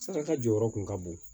Saraka jɔyɔrɔ kun ka bon